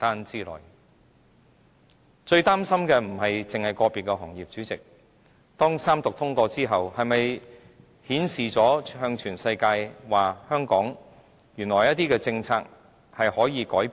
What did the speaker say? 主席，我最擔心的不是個別行業，而是當《條例草案》三讀通過後，是否向全世界顯示了，原來香港有些政策是可以改變的？